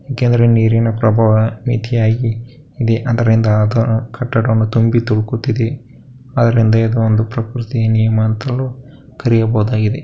ಯಾಕೆಂದ್ರೆ ನೀರಿನ ಪ್ರಬಾವ ಮಿತಿಯಾಗಿ ಅದರಿಂದ ಆದ ಕಟ್ಟಡ ತುಂಬಿ ತುಳುಕುತ್ತಿದೆ ಅದರಿಂದ ಆದ್ದರಿಂದ ಇದನ್ನು ಪ್ರಕೃತಿಯ ನಿಯಮ ಅಂತಲೂ ಕರೆಯಲಾಗಿದೆ.